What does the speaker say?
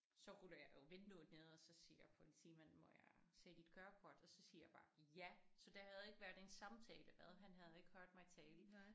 Så ruller jeg jo vinduet ned og så siger politimanden må jeg se dit kørekort og så siger jeg bare ja så der havde ikke været en samtale hvad han havde ikke hørt mig tale